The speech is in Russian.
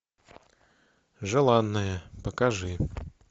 желанная покажи